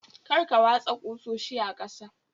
Kar Ka watsa ƙusoshi a ƙasa